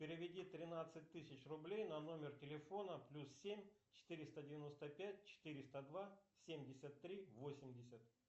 переведи тринадцать тысяч рублей на номер телефона плюс семь четыреста девяносто пять четыреста два семьдесят три восемьдесят